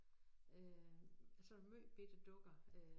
Øh altså måj bitte dukker øh